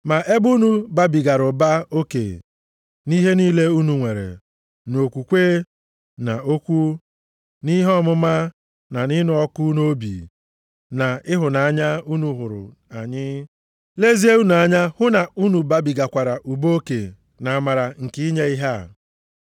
Ma ebe unu babigara ụba oke nʼihe niile unu nwere, nʼokwukwe, na okwu, nʼihe ọmụma, na ịnụ ọkụ nʼobi, na ịhụnanya unu hụrụ anyị, lezie unu anya hụ na unu babigakwara ụba oke nʼamara nke inye ihe a.